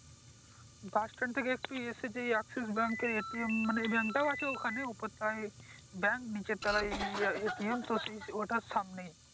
বাস stand থেকে একটি আছে যে এক্সেস ব্যাংক এর মানে এই ব্যাংক টা ও আছে ওইখানে মানে উপর তালায় ব্যাংক নিচের তালায় তো সে ওইটার সামনে